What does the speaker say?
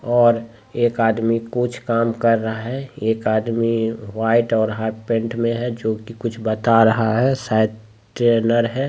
और एक आदमी कुछ काम कर रहा है | एक आदमी वाइट और हाफ पैंट में है जो कि कुछ बता रहा है शायद ट्रेनर है ---